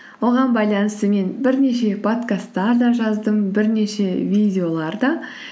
оған байланысты мен бірнеше покасттар да жаздым бірнеше видеолар да